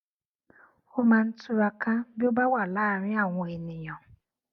ó máa ń túraká bí ó bá wà láàárín àwọn ènìyàn